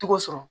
Tɔgɔ sɔrɔ